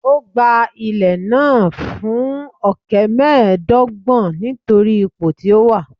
Ó gba ilẹ̀ náà fún ọ̀kẹ́ mẹ́ẹ̀ẹ́dọ́gbọ̀n nítorí ipò tí ó wà